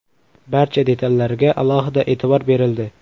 Barcha detallarga alohida e’tibor berildi.